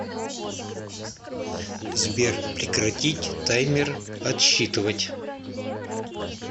сбер прекратить таймер отсчитывать